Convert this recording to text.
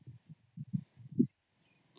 noise